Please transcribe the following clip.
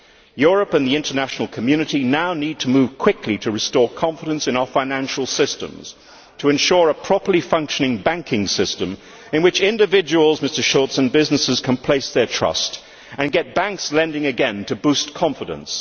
Europe and the international community now need to move quickly to restore confidence in our financial systems, to ensure a properly functioning banking system in which individuals, Mr Schulz, and businesses can place their trust and get banks lending again to boost confidence.